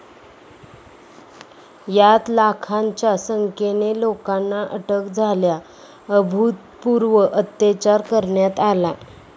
यात लाखांच्या संख्येने लोकांना अटक झाल्या, अभूतपूर्व अत्याचार करण्यात आला.